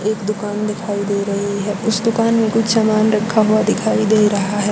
एक दुकान दिखाई दे रही है उस दुकान में कुछ समान रखा हुआ दिखाई दे रहा है।